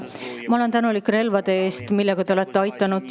Ma olen tänulik relvade eest, millega te olete aidanud.